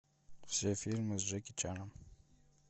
все фильмы с джеки чаном